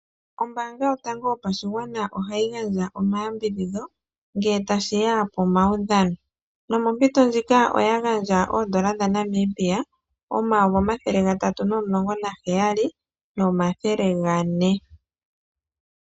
Ombaanga yotango yopashigwana ohayi gandja omayambidhidho ngele tashiya pomaudhano, nomompito ndjika oya gandja oondola dha Namibia omayovi omathele gatatu nomulongo naheyali nomathele gane.